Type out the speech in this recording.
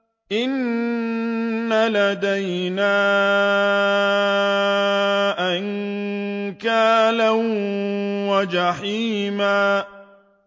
إِنَّ لَدَيْنَا أَنكَالًا وَجَحِيمًا